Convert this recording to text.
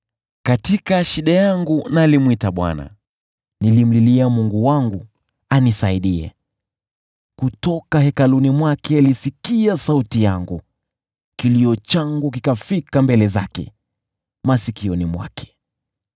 Katika shida yangu nalimwita Bwana , nilimlilia Mungu wangu anisaidie. Kutoka hekaluni mwake alisikia sauti yangu, kilio changu kikafika mbele zake, masikioni mwake.